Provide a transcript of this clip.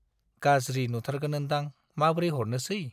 गाज्रि नुथारगोन ओन्दां, माब्रै हरनोसै।